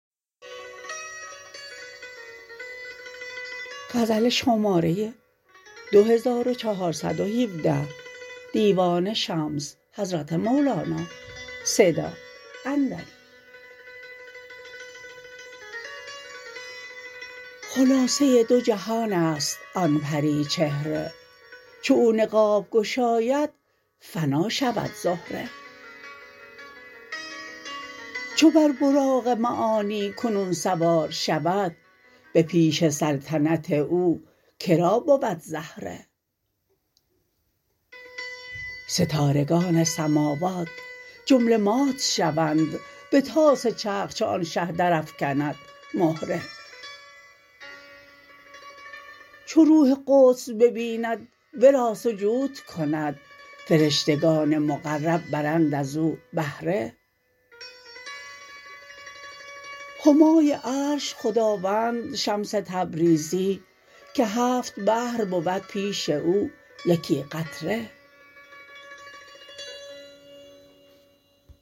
خلاصه دو جهان است آن پری چهره چو او نقاب گشاید فنا شود زهره چو بر براق معانی کنون سوار شود به پیش سلطنت او که را بود زهره ستارگان سماوات جمله مات شوند به طاس چرخ چو آن شه درافکند مهره چو روح قدس ببیند ورا سجود کند فرشتگان مقرب برند از او بهره همای عرش خداوند شمس تبریزی که هفت بحر بود پیش او یکی قطره